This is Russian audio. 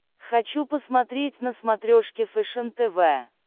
хочу посмотреть на смотрешке фэшен тв